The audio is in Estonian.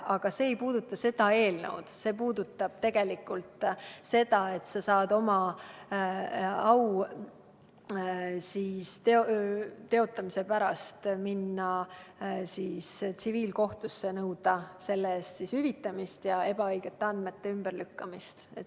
Aga see ei puuduta seda eelnõu, vaid see puudutab seda, et sa saad oma au teotamise pärast minna tsiviilkohtusse ning nõuda kahju hüvitamist ja ebaõigete andmete ümberlükkamist.